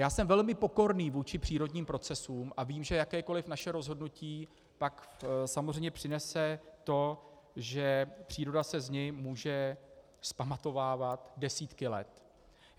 Já jsem velmi pokorný vůči přírodním procesům a vím, že jakékoliv naše rozhodnutí pak samozřejmě přinese to, že příroda se z něj může vzpamatovávat desítky let.